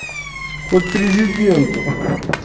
хоть президенту